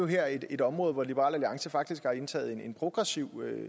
her er jo et område hvor liberal alliance faktisk har indtaget en progressiv